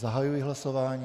Zahajuji hlasování.